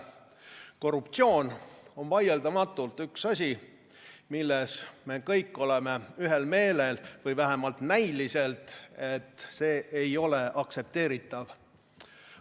Korruptsioon on vaieldamatult üks asi, milles me vähemalt näiliselt oleme kõik ühel meelel, et see ei ole aktsepteeritav.